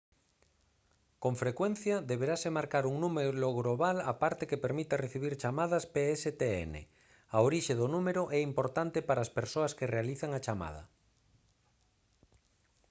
con frecuencia deberase mercar un número global á parte que permita recibir chamadas pstn a orixe do número é importante para as persoas que realizan a chamada